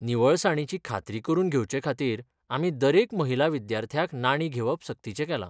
निवळसाणीची खात्री करून घेवचेखातीर, आमी दरेक महिला विद्यार्थ्याक नाणीं घेवप सक्तीचें केलां.